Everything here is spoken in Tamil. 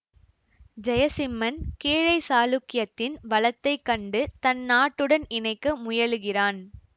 ஜெயசிம்மன் கீழை சாளுக்கியத்தின் வளத்தைச் கண்டு தன் நாட்டுடன் இணைக்க முயலுகிறான்